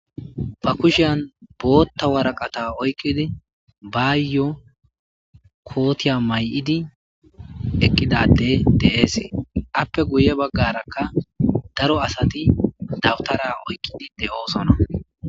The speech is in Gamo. Ba kushean bootta waraqata oykkidi baayyo kootiya may'idi ekkidade de'eesee appe guye baggarakka daro asati dawutara oykkidi de'oosona.